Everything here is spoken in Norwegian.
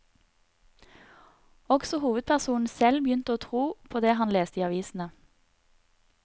Også hovedpersonen selv begynte å tro på det han leste i avisene.